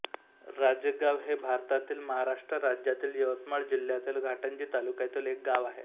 राजेगाव हे भारतातील महाराष्ट्र राज्यातील यवतमाळ जिल्ह्यातील घाटंजी तालुक्यातील एक गाव आहे